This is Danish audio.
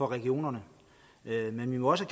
regionerne men vi må også